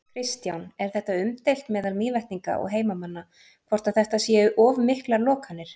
Kristján: Er þetta umdeilt meðal Mývetninga og heimamanna, hvort að þetta séu of miklar lokanir?